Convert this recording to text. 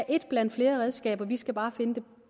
et blandt flere redskaber vi skal bare finde